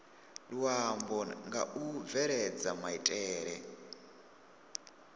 luambo nga u bveledza maitele